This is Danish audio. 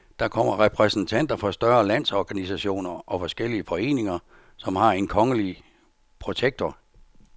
Der kommer repræsentanter for større landsorganisationer og forskellige foreninger, som har en kongelige protektor.